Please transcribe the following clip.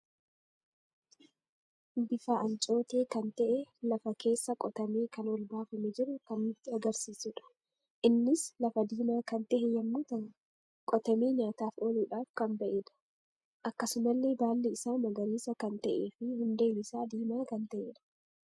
Bifa ancootee kan ta'e lafa keessa qotamee kan ol baafame jiru kan nutti agarsiisuudha. innis lafa diima kan tahe yemmuu ta'u, qotame nyaataf ooluudhaf kan ba'edha. Akkasumalle baalli isa magariisa kan ta'ee fi hundeen isaa diimaa kan ta'edha.